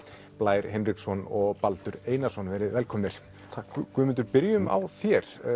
Blær Hinriksson og Baldur Einarsson verið velkomnir takk Guðmundur byrjum á þér